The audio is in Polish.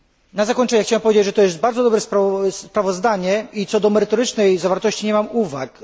Na zakończenie chciałbym powiedzieć, że to jest bardzo dobre sprawozdanie i co do merytorycznej zawartości nie mam uwag.